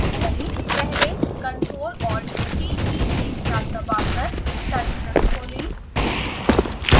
पहले ctrl+alt+t keys एक साथ दबाकर टर्मिनल खोलें